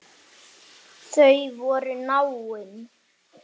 Þau voru náin.